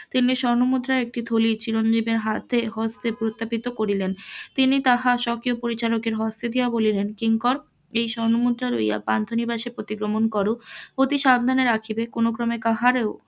তিনি স্বর্ণ মুদ্রার একটি থলি চিরঞ্জীবের হাতে হস্তে পুনরাথাপিত করিলেন, তিনি তাহা সক্রিয় পরিচালকের হস্তে দিয়া বলিলেন কিঙ্কর এই স্বর্ণ মুদ্রা লইয়া পান্থ নিবাসে প্রতি গমন কর অতি সাবধানে রাখিবে কোন ক্রমে কাহারও